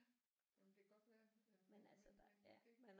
Ja jamen det kan godt være men men